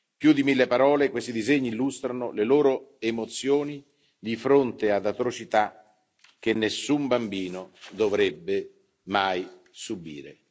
Più di mille parole, questi disegni illustrano le loro emozioni di fronte ad atrocità che nessun bambino dovrebbe mai subire.